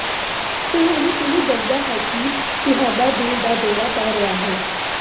ਤੁਹਾਨੂੰ ਕਿਵੇਂ ਦੱਸਣਾ ਹੈ ਕਿ ਤੁਹਾਨੂੰ ਦਿਲ ਦਾ ਦੌਰਾ ਪੈ ਰਿਹਾ ਹੈ